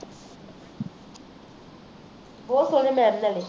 ਬਹੁਤ ਸੋਨੇ mam ਥੁਹਾਡੇ